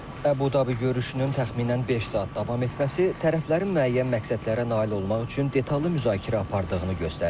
Əbu-Dabi görüşünün təxminən beş saat davam etməsi tərəflərin müəyyən məqsədlərə nail olmaq üçün detallı müzakirə apardığını göstərdi.